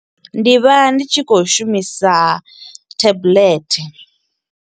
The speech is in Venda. Ndi vha ndi tshi kho u shumisa tablet.